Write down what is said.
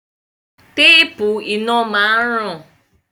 Téèpù iná máa ń ràn.